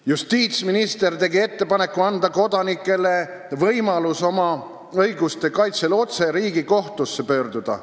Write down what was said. Justiitsminister tegi ettepaneku anda kodanikele võimalus oma õiguste kaitsel otse Riigikohtusse pöörduda.